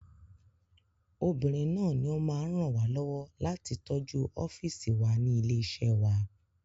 Obìnrin náà ní o máa ń ràn wá lọ́wọ́ láti tọ́jú ọ́fìsì wa ní ilé iṣẹ́ wa